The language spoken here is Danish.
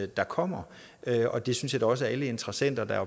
der kommer og det synes jeg da også at alle interessenter der er